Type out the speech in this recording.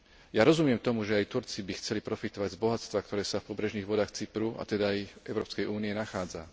Ja rozumiem tomu, že aj Turci by chceli profitovať z bohatstva, ktoré sa v pobrežných vodách Cypru, a teda aj Európskej únie nachádza.